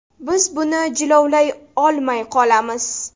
Biz buni jilovlay olmay qolamiz.